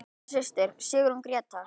Þín litla systir, Sigrún Gréta.